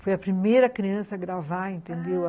Foi a primeira criança a gravar, entendeu?